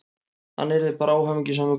Hann yrði bara óhamingjusamur, greyið.